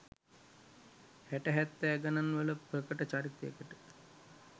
හැට හැත්තෑ ගණන් වල ප්‍රකට චරිතයකට